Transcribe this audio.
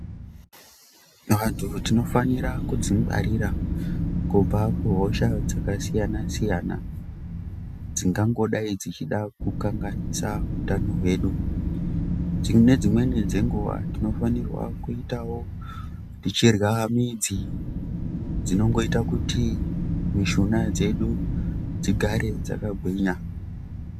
Vantu tinofanira kudzingwarira kubva kuhosha dzakasiyana siyana dzingangodayi dzichida kukanganisa utano hwedu. Nedzimweni dzenguwa tinofanirwa kuitawo tichirya midzi dzinongoita kuti mishuna dzedu dzigare dzakagwinya.